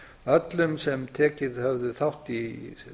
öllum sem tekið höfðu þátt í